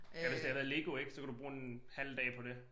Ja hvis det havde været lego ik så kunne du bruge en halv dag på det